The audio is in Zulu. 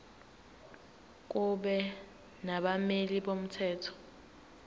kube nabameli bomthetho